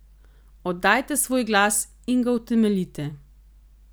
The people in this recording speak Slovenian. Oddajte svoj glas in ga utemeljite.